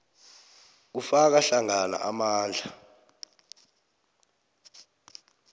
kufaka hlangana amandla